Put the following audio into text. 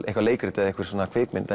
eitthvað leikrit eða einhver svona kvikmynd